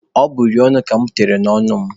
Ọ bụ uri ọnụ ka mụ tere n'ọnụ mụ.